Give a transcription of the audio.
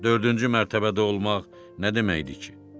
Dördüncü mərtəbədə olmaq nə deməkdir ki?